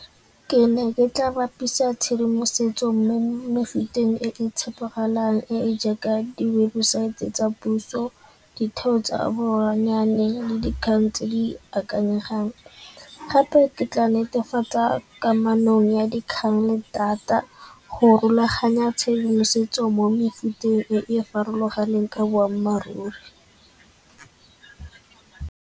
Ke ne ke tla bapisa tshedimosetso mme mo mefuteng e e tshepegalang e e jaaka di webosaete tsa puso, ditheo tsa le dikgang tse di akanyefang. Gape ke tla netefatsa kamanong ya dikgang le data go rulaganya tshedimosetso mo mefuteng e e farologaneng ka boammaaruri.